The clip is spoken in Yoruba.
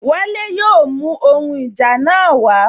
Wale yóò mú ohun ìjà náà wa